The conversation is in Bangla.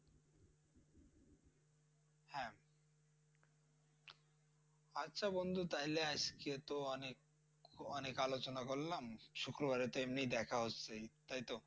আচ্ছা বন্ধু তাইলে আজকেতো অনেক অনেক আলোচনা করালাম শুক্রবারেতো এমনিই দেখা হচ্ছে তাইতো?